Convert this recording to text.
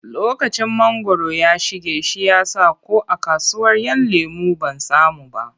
Lokacin mangwaro ya shige shi ya sa ko a kasuwar ‘Yan lemo ban samu ba.